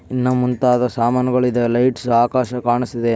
ಇನ್ನ ಮುಂತಾದ ಸಾಮಾನುಗಳ ಇದೆ ಲೈಟ್ಸ್ ಆಕಾಶ ಕಾನ್ಸಿದೆ.